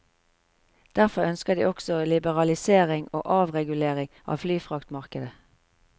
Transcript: Derfor ønsker de også liberalisering og avregulering av flyfraktmarkedet.